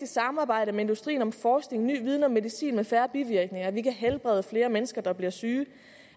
samarbejde med industrien om forskning og ny viden om medicin med færre bivirkninger at vi kan helbrede flere mennesker der bliver syge